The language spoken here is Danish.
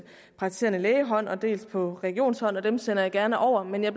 praktiserende lægehånd og dels på regionshånd og dem sender jeg gerne over men jeg